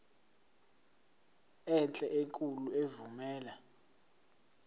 enhle enkulu evumela